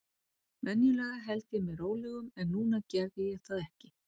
Venjulega held ég mér rólegum, en núna gerði ég það ekki.